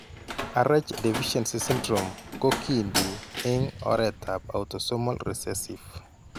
Rh deficiency syndrome ko kiinti eng' oretap autosomal recessive.